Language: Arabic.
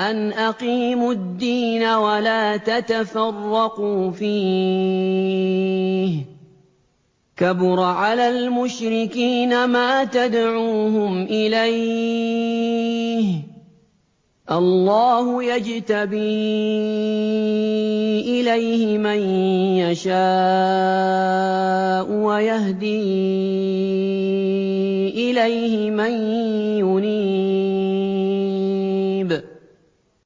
أَنْ أَقِيمُوا الدِّينَ وَلَا تَتَفَرَّقُوا فِيهِ ۚ كَبُرَ عَلَى الْمُشْرِكِينَ مَا تَدْعُوهُمْ إِلَيْهِ ۚ اللَّهُ يَجْتَبِي إِلَيْهِ مَن يَشَاءُ وَيَهْدِي إِلَيْهِ مَن يُنِيبُ